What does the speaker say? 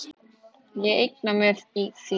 Ég eigna mér þig.